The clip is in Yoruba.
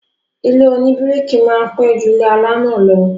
Ilé oníbíríkì máa pẹ́ ju ilé alámọ̀ lọ